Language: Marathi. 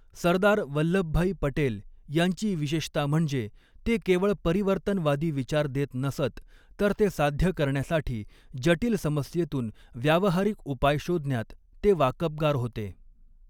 सरदार वल्लभभाई पटेल यांची विशेषता म्हणजे, ते केवळ परिवर्तनवादी विचार देत नसत, तर ते साध्य करण्यासाठी जटील समस्येतून व्यावहारिक उपाय शोधण्यात ते वाकबगार होते.